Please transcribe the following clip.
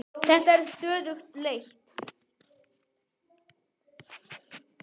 Þetta er stöðug leit!